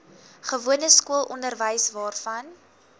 gewone skoolonderwys waarvan